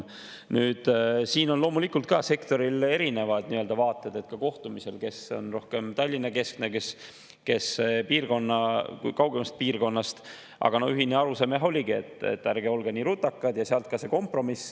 Nüüd, siin on loomulikult ka sektoril olnud erinevad vaated, ka kohtumistel: kes on rohkem Tallinna‑keskne, kes kaugemast piirkonnast, aga ühine arusaam oligi, et ärge olge nii rutakad – sealt ka see kompromiss.